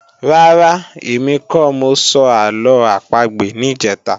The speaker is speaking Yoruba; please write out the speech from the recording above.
Rárá, èmi kọ́ mọ sọ àlọ́ àpagbè níjẹ̀ta